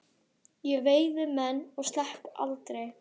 Ég veiði menn og sleppi aldrei.